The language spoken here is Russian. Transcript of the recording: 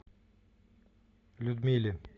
людмиле